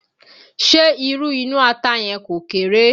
Ṣé irú inú ata yẹn kò kéré?